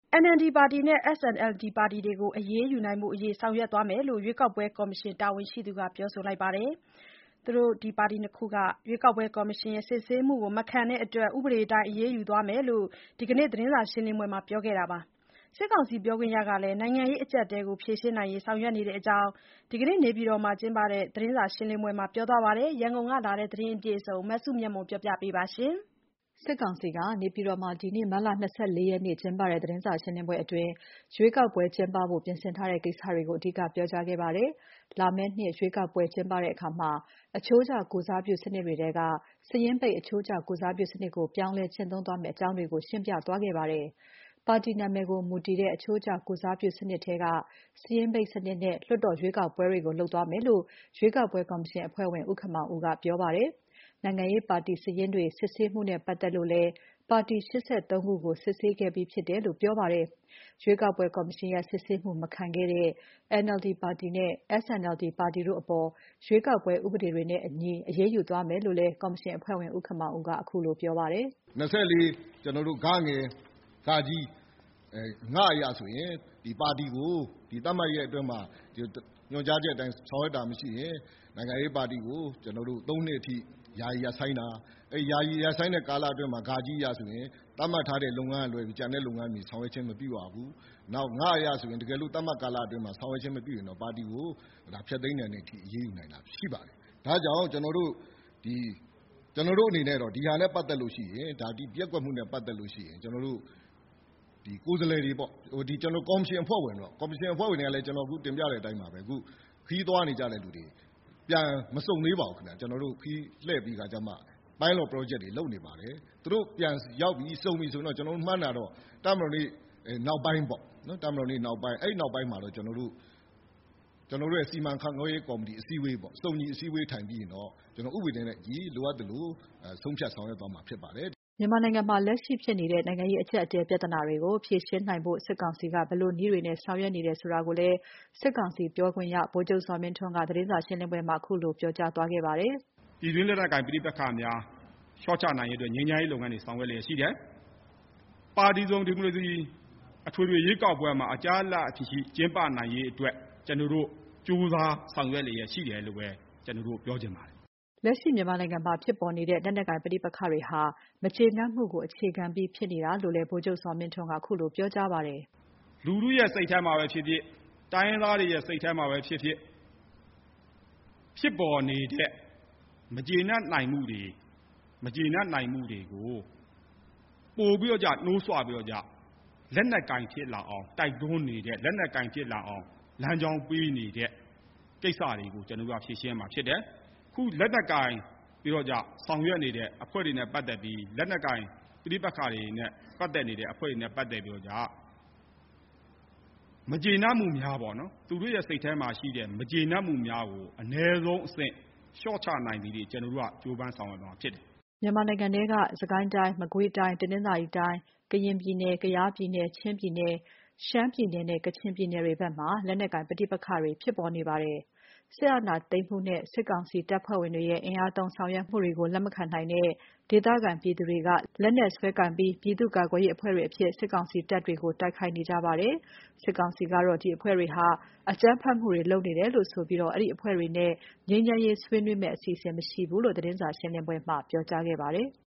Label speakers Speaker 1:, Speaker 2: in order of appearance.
Speaker 1: NLD ပါတီနဲ့ SNLD ပါတီတွေကို အရေးယူရေးဖို့ ဆောင်ရွက်သွားမယ်လို့ ရွေးကောက်ပွဲကော်မရှင် တာဝန်ရှိသူကပြောပါတယ်။ ရွေးကောက်ပွဲကော်မရှင်ရဲ့ စစ်ဆေးမှုကိုမခံတဲ့အတွက် ဥပဒေအတိုင်း အရေးယူသွားမယ်လို့ ဒီနေ့သတင်းစာရှင်းပွဲမှာ ပြောခဲ့တာပါ။ စစ်ကောင်စီပြောခွင့်ရကလည်း နိုင်ငံရေးအကြပ်အတည်းကို ဖြေရှင်းနိုင် ဖို့ ဆောင်ရွက်နေတဲ့အကြောင်း နေပြည်တော်မှာလုပ်တဲ့ သတင်းစာရှင်းလင်းပွဲအတွင်း ပြောသွားပါတယ်။ ရန်ကုန်ကလာတဲ့ ဒီသတင်းကို မစုမြတ်မွန်က တင်ပြပေးထားပါတယ်။ နေပြည်တော်မှာ ဒီနေ့ မတ်လ ၂၄ ရက်နေ့လုပ်ခဲ့တဲ့ သတင်းစာရှင်းပွဲမှာ ရွေးကောက်ပွဲကျင်းပဖို့ ပြင်ဆင်ထားတဲ့ ကိစ္စတွေကို အဓိက ပြောခဲ့ပါတယ်။ လာမယ့်နှစ် ရွေးကောက်ပွဲကျင်းပတဲ့အခါ အချိုးကျ ကိုယ်စားပြုစနစ်တွေထဲက စာရင်းပိတ် အချိုးကျ ကိုယ်စားပြုစနစ်ကို ပြောင်းလဲကျင့်သုံးသွားမယ်လို့ ကော်မရှင်က ဆိုပါတယ်။ ပါတီနာမည်ကို မူတည်တဲ့ အချိုးကျ ကိုယ်စားပြု စနစ်ထဲက စာရင်းပိတ်စနစ်နဲ့ လွှတ်တော်ရွေးကောက်ပွဲတွေကို လုပ်သွားမယ်လို့ ရွေးကောက်ပွဲကော်မရှင်အဖွဲ့ဝင် ဦးခင်မောင်ဦးကပြောပါတယ်။ နိုင်ငံရေးပါတီစာရင်းတွေ စစ်ဆေးမှုနဲ့ပတ်သက်လို့လည်း ပါတီ ၈၃ ခုကို စစ်ဆေးခဲ့ပြီးဖြစ်တယ်လို့ ပြောပါတယ်။ ရွေးကောက်ပွဲ ကော်မရှင်ရဲ့စစ်ဆေးမှုမခံခဲ့တဲ့ NLD ပါတီနဲ့ SNLD ပါတီတို့အပေါ် အရေးယူသွားမယ်လို့လည်း ကော်မရှင်အဖွဲ့ဝင် ဦးခင်မောင်ဦးက ပြောပါတယ်။
Speaker 2: “၂၄ (ဂ/ဃ/င) အရဆိုရင် ပါတီကို သတ်မှတ်ရက်အတွင်းမှာ ညွှန်ကြားချက်အတိုင်း ဆောင်ရွက်တာမရှိရင် နိုင်ငံရေးပါတီကို သုံးနှစ်အထိ ယာယီရပ်ဆိုင်းတာ၊ ယာယီရပ်ဆိုင်းတဲ့ကာလအတွင်းမှာ (ဃ)အရဆိုရင် သတ်မှတ်ထားတဲ့လုပ်ငန်းတွေကလွဲရင် ကျန်တဲ့လုပ်ငန်းတွေ ဆောင်ရွက်ခြင်းမပြုရဘူး။ နောက် (င) အရဆိုလို့ရှိရင် တကယ်လို့ သတ်မှတ်ကာလအတွင်းမှာ ဆောင်ရွက်ခြင်းမပြုရင်တော့ ပါတီကို ဖျက်သိမ်းတဲ့အထိ အရေးယူနိုင်တာရှိပါတယ်။ ဒါ့ကြောင့် ကျနော်တို့အနေနဲ့တော့ ဒီပျက်ကွက်မှုနဲ့ပတ်သက်လို့ ရှိရင် ကိုယ်စားလှယ်တွေပေါ့- ဒီ ကျနော်တို့ ကော်မရှင်အဖွဲ့ဝင်တွေပေါ့- ကော်မရှင်အဖွဲ့ဝင်တွေကလည်း အခု ကျနော် တင်ပြတဲ့အတိုင်းပါပဲ။ ခရီးသွားနေကြတဲ့သူတွေ-မစုံသေးပါဘူးခင်ဗျ။ ခရီးလှည့်ပြီးတော့....ပရောဂျက်တွေ လုပ်နေပါတယ်။ သူတို့ ပြန်ရောက်ပြီ၊ စုံပြီဆိုရင်တော့ ကျနော်တို့မှန်းတာတော့ တပ်မတော်နေ့နောက်ပိုင်းပေါ့- ကျနော်တို့ရဲ့ စီမံခန့်ခွဲရေးကော်မတီအစည်းအဝေး - စုံညီအစည်းအဝေးထိုင်ပြီးရင်တော့ ဥပတွေနဲ့အညီ လိုအပ်သလို ဆုံးဖြတ်ဆောင်ရွက်သွားမှာဖြစ်ပါတယ်။”
Speaker 1: ဒီနေ့သတင်းစာရှင်းပွဲအတွင်းမှာ မြန်မာနိုင်ငံမှာ လက်ရှိဖြစ်နေတဲ့ နိုင်ငံရေးအကြပ်အတည်း ပြဿနာတွေကို ဖြေရှင်းနိုင်ဖို့ စစ်ကောင်စီက ဘယ်လိုနည်းတွေနဲ့ ဆောင်ရွက်နေတယ်ဆိုတာကိုလည်း စစ်ကောင်စီပြောခွင့်ရ ဗိုလ်ချုပ်ဇော်မင်းထွန်းက ခုလိုဖြေကြားသွားပါတယ်။
Speaker 3: “ပြည်တွင်းလက်နက်ကိုင် ပဋိပက္ခများ လျှော့ချနိုင်ရေးအတွက် ငြိမ်းချမ်းရေးလုပ်ငန်းတွေ ဆောင်ရွက်လျှက်ရှိတယ်။ ပါတီစုံဒီမိုကရေစီ အထွေထွေရွေးကောက်ပွဲမှာ အကြားအလပ်မရှိ ကျင်းပနိုင်ရေးအတွက် ကြိုးစားဆောင်ရွက်လျှက်ရှိတယ်လို့ပဲ ကျနော်တို့ ပြောချင်ပါတယ်။”
Speaker 1: မြန်မာနိုင်ငံမှာ လက်ရှိဖြစ်နေတဲ့ လက်နက်ကိုင်ပဋိပက္ခတွေရဲ့ အခြေခံနဲ့ပတ်သက်လို့ စစ်ကောင်စီရဲ့ ရှုမြင်ပုံကိုလည်း ဗိုလ်ချုပ်ဇော်မင်းထွန်းက ခုလို ပြောပါတယ်။
Speaker 3: “လူထုရဲ့စိတ်ထဲမှာပဲဖြစ်ဖြစ်၊ တိုင်းရင်းသားတွေရဲ့စိတ်ထဲမှာပဲဖြစ်ဖြစ် ဖြစ်ပေါ်နေတဲ့ မကျေနပ်နိုင်မှုတွေကို ပိုပြီးတော့ကျ နှိုးဆွပြီးတော့ကျ လက်နက်ကိုင်ဖြစ်လာအောင် တိုက်တွန်းနေတဲ့၊ လက်နက်ကိုင်ဖြစ်လာအောင် လမ်းကြောင်းပေးနေတဲ့ကိစ္စတွေကို ကျနော်တို့က ဖြေရှင်းမှာဖြစ်တယ်။ လက်နက်ကိုင်ပြီးတော့ကျ ဆောင်ရွက်နေတဲ့အဖွဲ့တွေနဲ့ပတ်သက်ပြီး လက်နက်ကိုင်ပဋိပက္ခတွေနဲ့ပတ်သက်နေတဲ့ အဖွဲ့တွေနဲ့ ပတ်သက်ပြီးတော့ကျ မကျေနပ်မှုများပေါ့နော်- သူတို့ရဲ့စိတ်ထဲမှာရှိတဲ့ မကျေနပ်မှုများကို အနည်းဆုံးအဆင့် လျှော့ချနိုင်တဲ့အထိ ကျနော်တို့က ကြိုးပမ်းဆောင်ရွက်မှာဖြစ်တယ်
Speaker 1: ။” မြန်မာနိုင်ငံထဲက စစ်ကိုင်းတိုင်း၊ မကွေးတိုင်း၊ တနင်္သာရီတိုင်း၊ ကရင်ပြည်နယ်၊ ကယားပြည်နယ်၊ ချင်းပြည်နယ်၊ ရှမ်းပြည်နယ်နဲ့ ကချင်ပြည်နယ်တွေဘက်မှာ လက်နက်ကိုင်ပဋိပက္ခတွေ ဆက်ဖြစ်နေပါတယ်။ စစ်အာဏာသိမ်းမှုနဲ့ စစ်ကောင်စီတပ်ဖွဲ့ဝင်တွေရဲ့ အင်အားသုံးဆောင်ရွက်မှုကို လက်မခံနိုင်တဲ့ ဒေသခံပြည်သူတွေက လက်နက်စွဲကိုင်ပြီး ပြည်သူ့ကာကွယ်ရေးအဖွဲ့တွေအဖြစ် စစ်ကောင်စီတပ်တွေကို တိုက်ခိုက်နေကြတာပါ။ စစ်ကောင်စီကတော့ ဒီအဖွဲ့တွေဟာ အကြမ်းဖက်လုပ်ရပ်တွေ လုပ်နေတယ်ဆိုပြီး အဲဒီအဖွဲ့တွေနဲ့ ငြိမ်းချမ်းရေးဆွေးနွေးဖို့ အစီအစဉ်မရှိဘူးလို့ သတင်းစာရှင်းလင်းပွဲမှာ ပြောကြားခဲ့ပါတယ်။